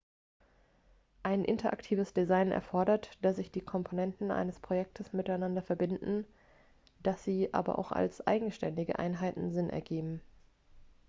ein interaktives design erfordert dass sich die komponenten eines projektes miteinander verbinden dass sie aber auch als eigenständige einheiten sinn ergeben